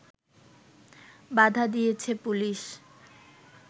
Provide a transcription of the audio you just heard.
বাধা দিয়েছে পুলিশ